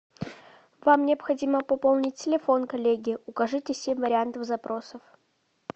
вам необходимо пополнить телефон коллеги укажите семь вариантов запросов